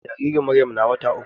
Jaririn Maryam na wata uku.